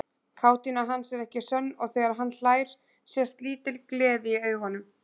Kátína hans er ekki sönn og þegar hann hlær sést lítil gleði í augunum.